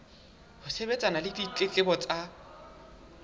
ho sebetsana le ditletlebo tsa